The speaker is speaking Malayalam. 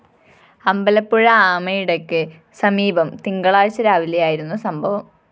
അമ്പലപ്പുഴ ആമയിടയ്ക്ക് സമീപം തിങ്കളാഴ്ച രാവിലെയായിരുന്നു സംഭവം